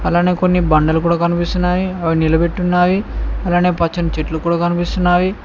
అలానే కొన్ని బండలు కూడా కనిపిస్తున్నాయి అవి నిలబెట్టున్నాయి అలానే పచ్చని చెట్లు కూడా కనిపిస్తున్నవి.